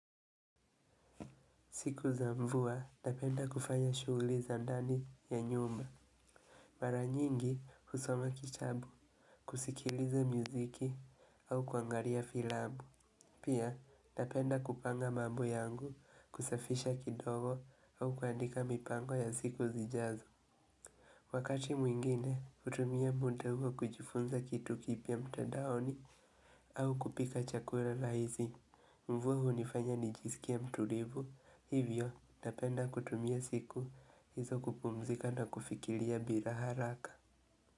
Siku za mvua napenda kufanya shughuli za ndani ya nyumba. Mara nyingi husoma kitabu, kusikiliza muziki au kuangalia filambu. Pia napenda kupanga mambo yangu kusafisha kidogo au kuandika mipango ya siku zijazo. Wakati mwingine hutumia muda huo kujifunza kitu kipya mtadaoni au kupika chakula rahisi. Mvua hunifanya ni jisikie mtulivu, hivyo napenda kutumia siku hizo kupumzika na kufikiria bila haraka.